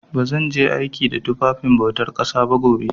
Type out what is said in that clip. Ba zan je aiki da tufafin bautar ƙasa ba gobe.